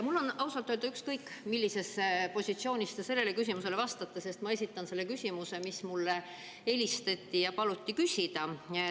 Mul on ausalt öeldes ükskõik, millisest positsioonist te sellele küsimusele vastate, sest ma esitan selle küsimuse, mida mulle helistaja palus küsida.